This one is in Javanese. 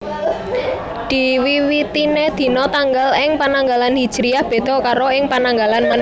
Diwiwitiné dina tanggal ing Pananggalan Hijriyah béda karo ing Pananggalan Masèhi